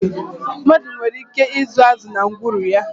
Mmadụ nwere ike ịzụ azụ na ngwuru ya.